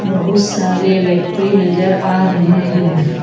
बहुत सारे व्यक्ति नजर आ रहे हैं।